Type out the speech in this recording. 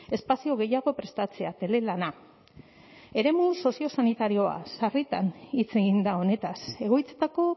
espazio gehiago prestatzea telelana eremu soziosanitarioa sarritan hitz egin da honetaz egoitzetako